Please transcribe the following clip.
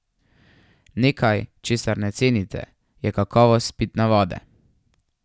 Nekaj, česar ne cenite, je kakovost pitne vode.